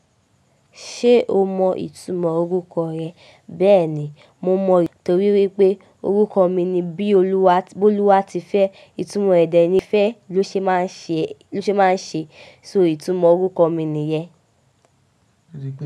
Ṣé o mọ ìtumọ̀ orúkọ rẹ? Bẹ́ẹ̀ ni, mo mọ̀ torí wípé orúkọ mi ni bíoluwati Bólúwátifẹ́. Ìtumò ẹ̀ dẹ ní fẹ́, bó ṣe máa ń ṣe bó ṣe máa ń ṣe. So ìtumò orúkọ mi nìyẹn.